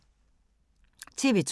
TV 2